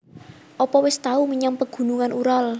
Opo wis tau menyang Pegunungan Ural?